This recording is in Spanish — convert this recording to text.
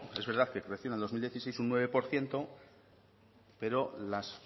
es verdad que creció en dos mil dieciséis un nueve por ciento pero las